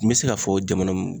N me se k'a fɔ jamana mun